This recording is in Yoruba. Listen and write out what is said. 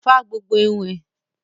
Fá gbogbo irun ẹ!